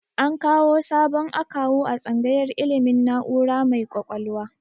An kawu sabon akawu a tsangayar ilmin na'ura mai kwakwalwa